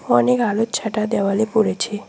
অনেক আগের ছাটা দেওয়ালে পড়েছে।